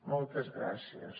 moltes gràcies